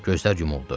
Gözlər yumuldu.